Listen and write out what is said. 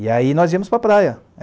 E aí nós íamos para a praia.